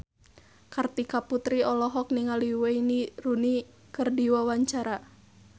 Kartika Putri olohok ningali Wayne Rooney keur diwawancara